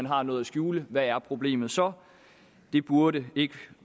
har noget at skjule hvad er problemet så det burde ikke